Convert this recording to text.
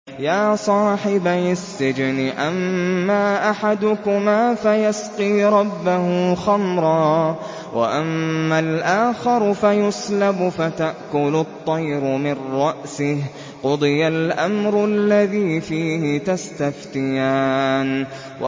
يَا صَاحِبَيِ السِّجْنِ أَمَّا أَحَدُكُمَا فَيَسْقِي رَبَّهُ خَمْرًا ۖ وَأَمَّا الْآخَرُ فَيُصْلَبُ فَتَأْكُلُ الطَّيْرُ مِن رَّأْسِهِ ۚ قُضِيَ الْأَمْرُ الَّذِي فِيهِ تَسْتَفْتِيَانِ